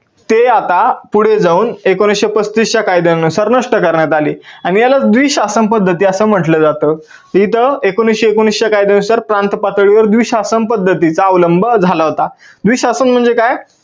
ते आता पुढे जाऊन एकोणविसशे पस्तीस च्या कायद्यानुसार नष्ट करण्यात आले आणि याला द्वी शासन पद्धती असं म्हटलं जातं. इथं एकोणविसशे एकोणवीस च्या कायद्यानुसार प्रांत पातळीवर द्विशासन पद्धतीचा अवलंब झाला होता. द्विशासन म्हणजे काय?